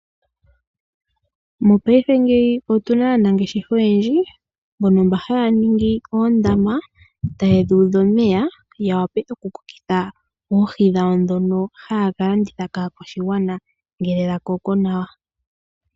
Mopaife ngeyi otuna aanangeshefa oyendji mbono mba haya ningi oondama, tayedhi udha omeya yawape okukokeka oohi dhawo ndhono haya kalanditha kaakwashigwana ngele dhakoko nawa.